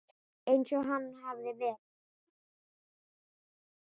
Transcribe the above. Eins og hann hafði verið.